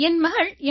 என் மகள் எம்